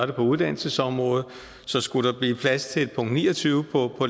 det på uddannelsesområdet så skulle der blive plads til et punkt ni og tyve på